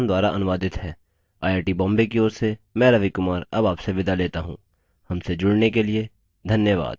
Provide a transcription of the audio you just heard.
यह स्क्रिप्ट देवेन्द्र कैरवान द्वारा अनुवादित है आई आई टी बॉम्बे की ओर से मैं रवि कुमार अब आपसे विदा लेता हूँ हमसे जुड़ने के लिए धन्यवाद